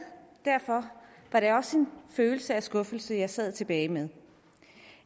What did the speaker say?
derfor var det også en følelse af skuffelse jeg sad tilbage med